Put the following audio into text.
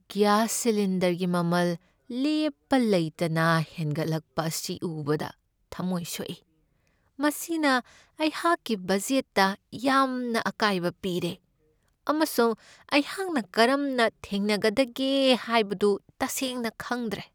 Gas ꯁꯤꯂꯤꯟꯗꯔꯒꯤ ꯃꯃꯜ ꯂꯦꯞꯄ ꯂꯩꯇꯅ ꯍꯦꯟꯒꯠꯂꯛꯄ ꯑꯁꯤ ꯎꯕꯗ ꯊꯝꯃꯣꯏ ꯁꯣꯛꯏ ꯫ ꯃꯁꯤꯅ ꯑꯩꯍꯥꯛꯀꯤ ꯕꯖꯦꯠꯇ ꯌꯥꯝꯅ ꯑꯀꯥꯏꯕ ꯄꯤꯔꯦ, ꯑꯃꯁꯨꯡ ꯑꯩꯍꯥꯛꯅ ꯀꯔꯝꯅ ꯊꯦꯡꯅꯒꯗꯒꯦ ꯍꯥꯏꯕꯗꯨ ꯇꯁꯦꯡꯅ ꯈꯪꯗ꯭ꯔꯦ ꯫